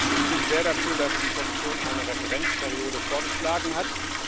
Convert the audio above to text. Ich bin sehr dafür, dass die Kommission eine Referenzperiode vorgeschlagen hat.